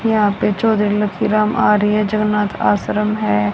यहा पे चौधरी लकी राम आर्य जगन्नाथ आश्रम है।